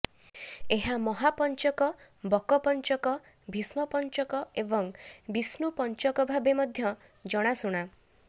ଏହା ମହାପଞ୍ଚକ ବକପଞ୍ଚକ ଭୀଷ୍ମପଞ୍ଚକ ଏବଂ ବିଷ୍ଣୁପଞ୍ଚକ ଭାବେ ମଧ୍ୟ ଜଣାଶୁଣା